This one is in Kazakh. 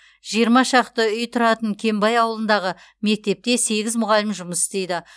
жиырма шақты үй тұратын кенбай ауылындағы мектепте сегіз мұғалім жұмыс істейді